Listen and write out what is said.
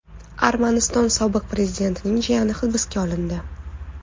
Armaniston sobiq prezidentining jiyani hibsga olindi.